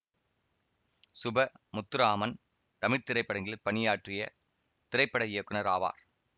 சுப முத்துராமன் தமிழ் திரைப்படங்களில் பணியாற்றிய திரைப்பட இயக்குனர் ஆவார்